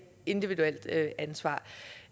individuelt ansvar